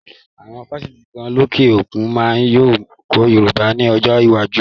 Awon Fáṣítì lókè òkun yíò máa kọ́ Yorùbá ni ọjọ́ iwájú